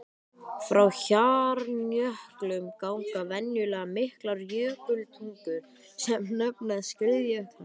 Frá hjarnjöklum ganga venjulega miklar jökultungur sem nefnast skriðjöklar.